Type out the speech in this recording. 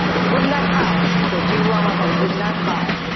તો જીવવામાં પણ ભૂલ ના થાય.